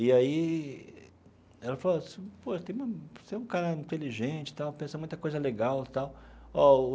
E aí ela falou assim, pô eu tenho um você é um cara inteligente tal, pensa em muita coisa legal tal ó.